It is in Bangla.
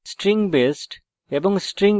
নির্দেশিত কাজ হিসাবে